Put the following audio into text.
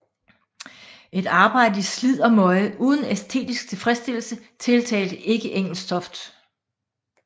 Et arbejde i slid og møje uden æstetisk tilfredsstillelse tiltalte ikke Engelstoft